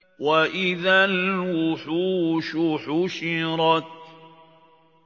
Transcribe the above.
وَإِذَا الْوُحُوشُ حُشِرَتْ